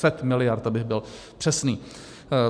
Set miliard, abych byl přesný.